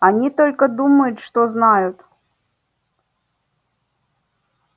они только думают что знают